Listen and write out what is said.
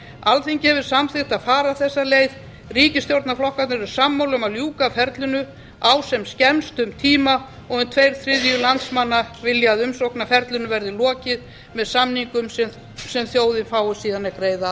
alþingi hefur samþykkt að fara þessa leið ríkisstjórnarflokkarnir eru sammála um að ljúka ferlinu á sem skemmstum tíma og um tveir þriðju landsmanna vilja að umsóknarferlinu verði lokið með samningum sem þjóðin fái síðan að greiða